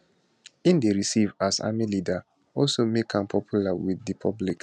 im dey receive as army leader also make am popular wit di public